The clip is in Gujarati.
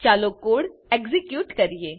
ચાલો કોડ એક્ઝીક્યુટ કરીએ